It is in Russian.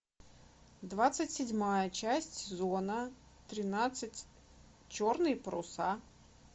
двадцать седьмая часть сезона тринадцать черные паруса